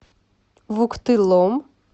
вуктылом